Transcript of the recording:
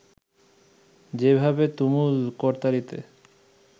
যেভাবে তুমুল করতালিতে